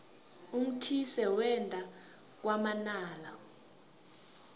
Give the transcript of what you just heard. umthise wenda kwamanala